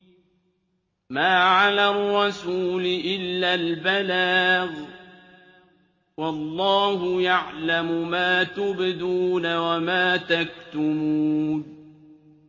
مَّا عَلَى الرَّسُولِ إِلَّا الْبَلَاغُ ۗ وَاللَّهُ يَعْلَمُ مَا تُبْدُونَ وَمَا تَكْتُمُونَ